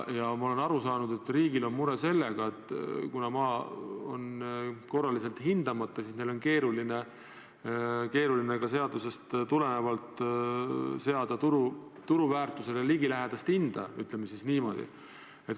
Ma olen aru saanud, et riigil on mure sellega, et kuna maa on korraliselt hindamata, siis neil on keeruline seada seadusest tulenevalt turuväärtusele ligilähedast hinda – ütleme siis niimoodi.